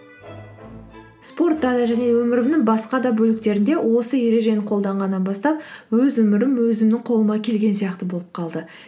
спортта да және өмірімнің басқа да бөліктерінде осы ережені қолданғаннан бастап өз өмірім өзімнің қолыма келген сияқты болып қалды